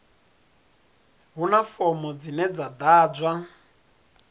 huna fomo dzine dza ḓadzwa